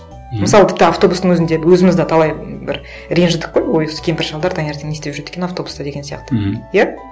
мысалы тіпті автобустың өзінде өзіміз де талай м бір ренжідік қой ой осы кемпір шалдар таңертең не істеп жүреді екен автобуста деген сияқты мхм иә